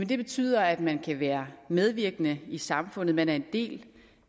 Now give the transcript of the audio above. betyder at man kan være medvirkende i samfundet man er en del